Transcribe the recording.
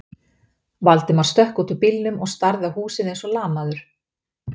Valdimar stökk út úr bílnum og starði á húsið eins og lamaður.